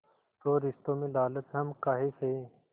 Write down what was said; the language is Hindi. तो रिश्तों में लालच हम काहे सहे